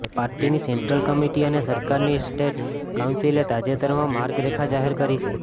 પાર્ટીની central committee અને સરકારની સ્ટેટ કાઉન્સિલે તાજેતરમાં માર્ગરેખા જાહેર કરી છે